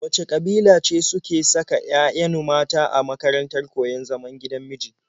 Wace ƙabila ce suke saka 'ya'yanu mata a makarantar koyon zaman gidan miji?